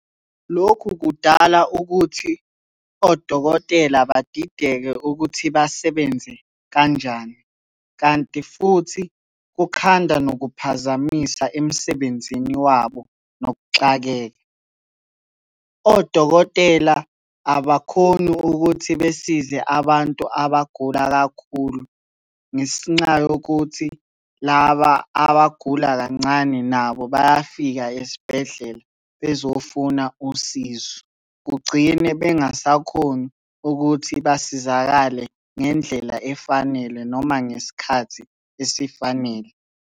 Lokhu kudala ukuthi odokotela badidekile ukuthi basebenze kanjani, kanti futhi kukhanda nokukuphazamisa emsebenzini wabo nokuxakeka. Odokotela abakhoni ukuthi besize abantu abagula kakhulu, ngesinxa yokuthi laba abagula kancane nabo bayafika esibhedlela bezofuna usizo. Kugcine bengasakhoni ukuthi basizakale ngendlela efanele noma ngesikhathi esifanele.